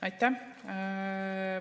Aitäh.